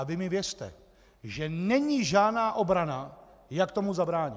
A vy mi věřte, že není žádná obrana, jak tomu zabránit.